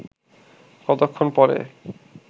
কতক্ষণ পরে